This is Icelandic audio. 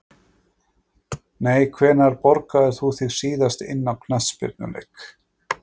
Nei Hvenær borgaðir þú þig síðast inn á knattspyrnuleik?